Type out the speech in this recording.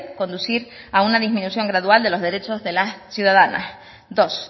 conducir a una disminución gradual de los derechos de las ciudadanas dos